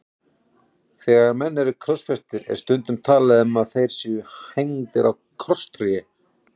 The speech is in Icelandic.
Þegar menn eru krossfestir er stundum talað um að þeir séu hengdir á krosstré.